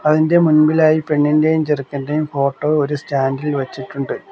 അതിൻറെ മുൻപിലായി പെണ്ണിന്റേയും ചെറുക്കന്റെ ഫോട്ടോ ഒരു സ്റ്റാൻഡ് ഇൽ വച്ചിട്ടുണ്ട്.